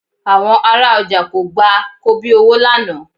Àwọn ará ọjà kò gba kobíowó lánàá